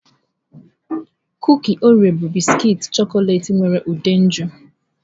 Kuki Oreo bụ bisikiiti chọkọleti nwere ude nju